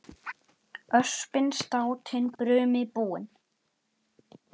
Öspin státin brumi búin.